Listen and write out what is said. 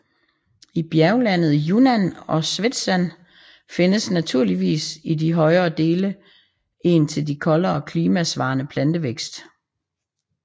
I bjerglandet i Yunnan og Szetshwan findes naturligvis i de højere dele en til det koldere klima svarende plantevækst